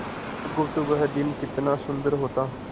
बुधगुप्त वह दिन कितना सुंदर होता